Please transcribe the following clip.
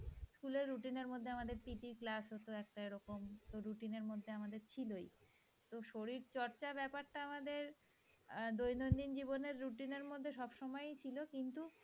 school র routine মধ্যে আমাদের PT র ক্লাস হতো একটা এরকম routine এর মধ্যে আমাদের ছিলই, তো শরীরচর্চা ব্যাপারটা আমাদের দৈনন্দিন জীবনে routine এর মধ্যে সব সময় ছিল কিন্তু